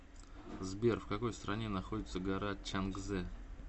сбер в какой стране находится гора чангзе